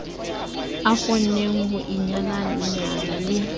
a kgonneng ho inyalanya le